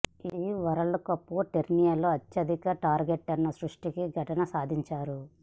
ఈ world cup టోర్నీలో అత్యధిక టార్గెట్ను సృష్టించిన ఘనత సాధించారు